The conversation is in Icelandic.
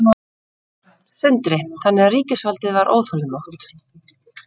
Sindri: Þannig að ríkisvaldið var óþolinmótt?